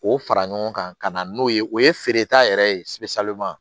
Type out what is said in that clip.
K'o fara ɲɔgɔn kan ka na n'o ye o ye feereta yɛrɛ ye